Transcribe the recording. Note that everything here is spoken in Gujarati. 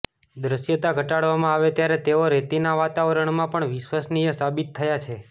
દૃશ્યતા ઘટાડવામાં આવે ત્યારે તેઓ રેતીના વાતાવરણમાં પણ વિશ્વસનીય સાબિત થયા છે